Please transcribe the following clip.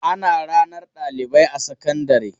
Ana ranar ɗalibai a sakandare.